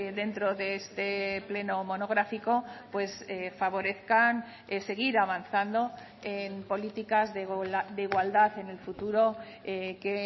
dentro de este pleno monográfico pues favorezcan seguir avanzando en políticas de igualdad en el futuro que